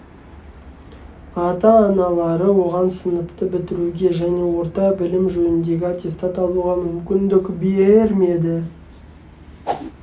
ата-аналары оған сыныпты бітіруге және орта білім жөніндегі аттестат алуға мүмкіндік бермеді